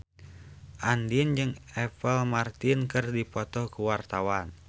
Andien jeung Apple Martin keur dipoto ku wartawan